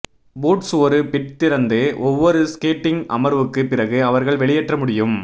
boots ஒரு bit திறந்து ஒவ்வொரு ஸ்கேட்டிங் அமர்வுக்கு பிறகு அவர்கள் வெளியேற்ற முடியும்